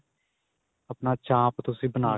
ਆਪਣਾ ਚਾਂਪ ਤੁਸੀਂ ਬਣਾ